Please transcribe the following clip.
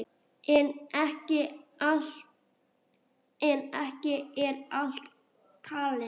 En ekki er allt talið.